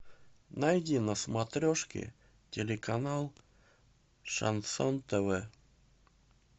найди на смотрешке телеканал шансон тв